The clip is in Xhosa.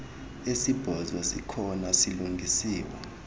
esibhozo sikhona silungisiwe